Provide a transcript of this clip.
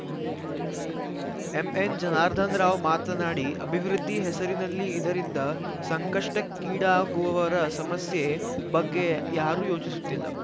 ಎಂಎನ್‌ಜನಾರ್ಧನರಾವ್‌ ಮಾತನಾಡಿ ಅಭಿವೃದ್ಧಿ ಹೆಸರಿನಲ್ಲಿ ಇದರಿಂದ ಸಂಕಷ್ಟಕ್ಕೀಡಾಗುವವರ ಸಮಸ್ಯೆ ಬಗ್ಗೆ ಯಾರೂ ಯೋಚಿಸುತ್ತಿಲ್ಲ